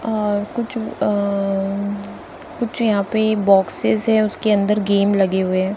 और कुछ अह कुछ यहां पे बॉक्सेस है और उसके अंदर गेम लगे हुए है।